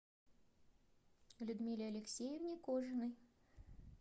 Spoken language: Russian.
людмиле алексеевне кожиной